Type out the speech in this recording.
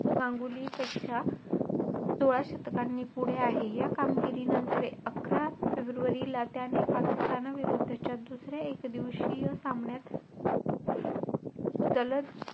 गांगुलीपेक्षा सोळा शतकांनी पुढे आहे. या कामगिरीनंतर अकरा फेब्रुवारीला त्याने पाकिस्तानाविरुद्धच्या दुसऱ्या एकदिवशीय सामन्यात दलत,